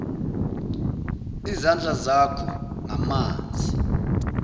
izandla zakho ngamanzi